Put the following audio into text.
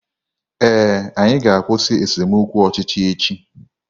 Ee, anyị ga-akwụsị esemokwu ọchịchị echi